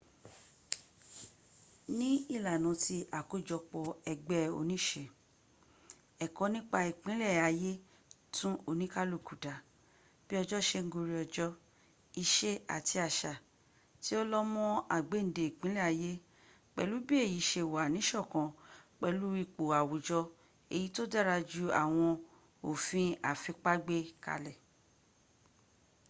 ní ìlànà tí àkójọpọ̀ ẹgbẹ́ oníse ẹ̀kọ́ nípa ìpìlẹ̀ ayé tún oníkálukú dá bí ọjọ́ se ń gorí ọjọ́ ìṣe àti àṣà tí ó lọ́ mọ́ àgbéǹde ìpìlẹ̀ ayé pẹ̀lú bí èyí se wà nísọ̀kan pẹ̀lú ipò àwùjọ èyí tó dára ju àwọn òfi àfipá gbé kalẹ̀